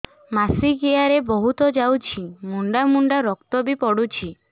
ମାସିକିଆ ରେ ବହୁତ ଯାଉଛି ମୁଣ୍ଡା ମୁଣ୍ଡା ରକ୍ତ ବି ପଡୁଛି